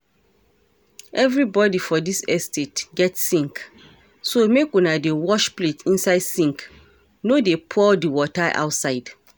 Everybody for dis estate get sink so make una dey wash plate inside sink no dey pour the water outside